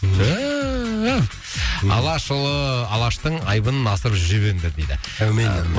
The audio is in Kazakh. түф алашұлы алаштың айбынын асырып жүре беріңдер дейді әумин